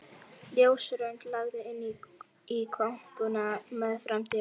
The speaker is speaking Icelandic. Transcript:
Ljósrönd lagði inn í kompuna meðfram dyrunum.